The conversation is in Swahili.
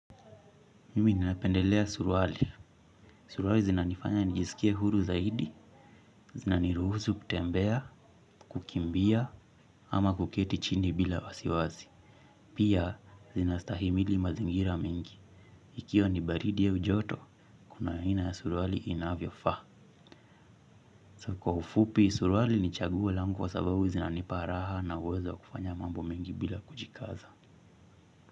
Mimi ninapendelea surwali. Surwali zinanifanya nijiskie huru zaidi, zinaniruhusu kutembea, kukimbia, ama kuketi chini bila wasiwasi. Pia, zinastahimili mazingira mingi. Ikiwa nibaridi au joto, kuna aina ya surwali inavyo faa. So kwa ufupi, surwali nichagua lango wa sababu zinaniparaha na uwezo wa kufanya mambo mengi bila kujikaza.